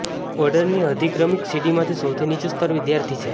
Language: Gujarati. ઓર્ડરની અધિક્રમિક સીડીમાં સૌથી નીચું સ્તર વિદ્યાર્થી છે